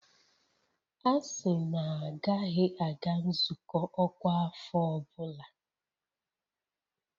A sị na a gaghị aga nzukọ ọkwa afọ ọ bụla!